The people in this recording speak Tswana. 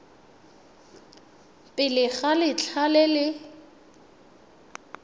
pele ga letlha le le